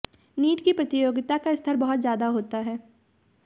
NEET की प्रतियोगिता का स्तर बहुत ज्यादा होता है